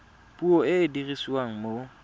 puo e e dirisiwang mo